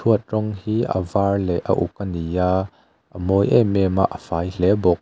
huat rawng hi a var leh a uk a ni a a mawi em em a a fai hle bawk.